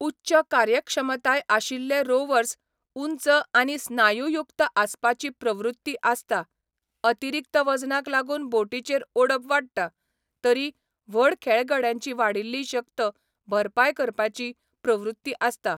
उच्च कार्यक्षमताय आशिल्ले रोवर्स उंच आनी स्नायुयुक्त आसपाची प्रवृत्ती आसता, अतिरिक्त वजनाक लागून बोटीचेर ओडप वाडटा तरी व्हड खेळगड्यांची वाडिल्ली शक्त भरपाय करपाची प्रवृत्ती आसता.